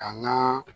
A ŋan